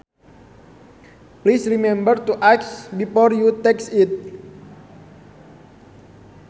Please remember to ask before you take it